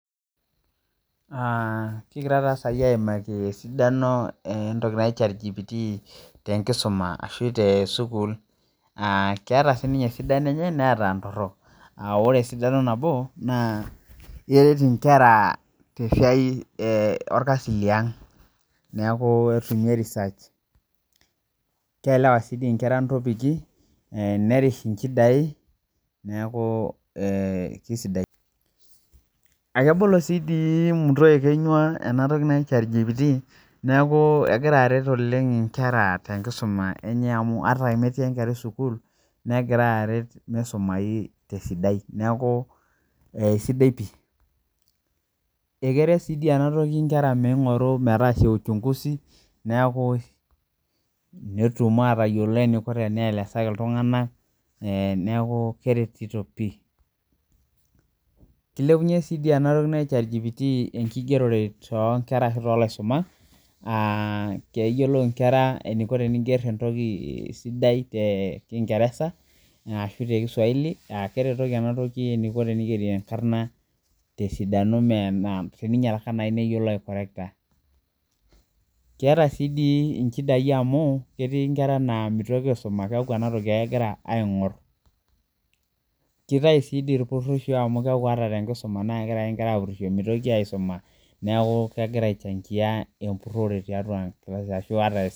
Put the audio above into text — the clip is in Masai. Aa kigira sai aimaki esidano entoki anji chat got na ore esidano nabo nakwret nkwra tesaia orkasi liang kielewa nkera ntopiki nerish ntokitin na kebolo si enatoki muto ekenyua enatoki anji chatgpt neaku egira aret nkera ata metii enkerai sukul negira aret misumai neaku aisidai pii akeret si enatoki nkera netum atayiolo eniko tenielesaki ltunganak neaku keretito pii kilepunye si enatoki naji chat gpt enkigerore tonkera ashu tolaisumak keyioloh nkera eniko eniko tenisuma tekingeresa ashu tekiswahili aa keretoki enatoki teninger tesidano teninyalaka ninkorektaki.